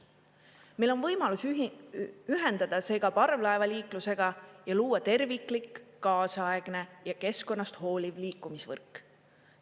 Meil on võimalus ühendada see ka parvlaevaliiklusega ja luua terviklik, kaasaegne ja keskkonnast hooliv liikumisvõrk.